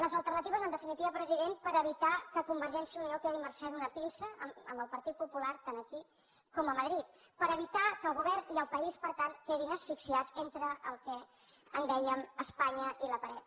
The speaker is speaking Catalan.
les alternatives en definitiva president per evitar que convergència i unió quedi a mercè d’una pinça amb el partit popular tant aquí com a madrid per evitar que el govern i el país per tant quedin asfixiats entre el que en dèiem espanya i la paret